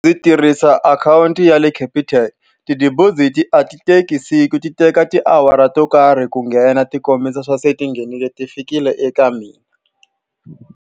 Ndzi tirhisa akhawunti ya le Capitec. Ti-deposit-i a ti teki siku, ti teka tiawara to karhi ku nghena tikombisa leswaku se tinghenile, ti fikile eka mina.